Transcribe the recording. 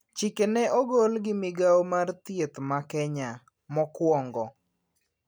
Chike ne ogol gi migao mar thieth ma Kenya, mokwongo